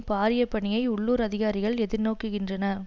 பாரிய பணியை உள்ளூர் அதிகாரிகள் எதிர்நோக்குகின்றனர்